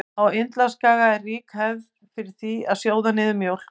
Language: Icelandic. Á Indlandsskaga er rík hefð er fyrir því að sjóða niður mjólk.